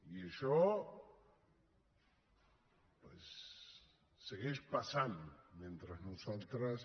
i això doncs segueix passant mentre nosaltres